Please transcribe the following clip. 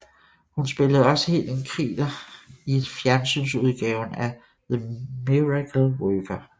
Hun spillede også Helen Keller i fjernsynsudgaven af The Miracle Worker